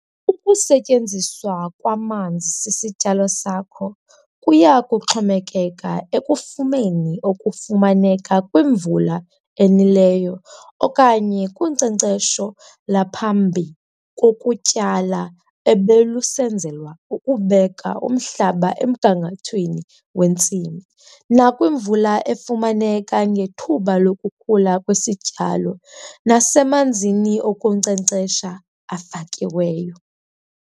Ukusetyenziswa kwamanzi sisityalo sakho kuya kuxhomekeka ekufumeni okufumaneka kwimvula enileyo okanye kunkcenkcesho lwaphambi kokutyala ebelusenzelwa ukubeka umhlaba emgangathweni wentsimi, nakwimvula efumaneke ngethuba lokukhula kwesityalo nasemanzini okunkcenkcesha afakiweyo.